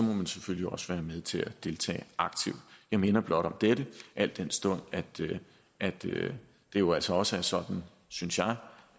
må man selvfølgelig også være med til at deltage aktivt jeg minder blot om dette al den stund at at det jo altså også er sådan synes jeg